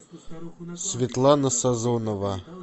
светлана сазонова